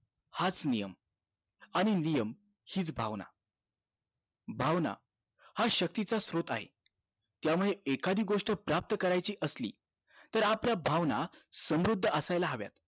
हाच नियम आणि नियम हीच भावना भावना हि शक्तीचा सोत्र आहे त्यामुळे एखादी गोष्ट प्राप्त करायची असली तर आपल्या भावना समृद्ध असायला हव्या